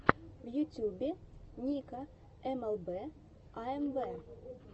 в ютюбе ника эмэлбэ аэмвэ